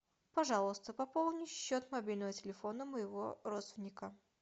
пожалуйста пополни счет мобильного телефона моего родственника